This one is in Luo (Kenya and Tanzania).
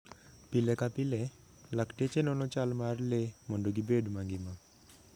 Pile ka pile, lakteche nono chal mar le mondo gibed mangima.